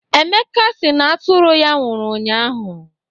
Emeka si na atụrụ ya nwụrụ ụnyaahụ.